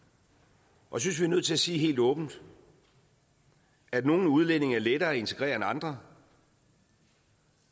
og jeg synes vi er nødt til at sige helt åbent at nogle udlændinge er lettere at integrere end andre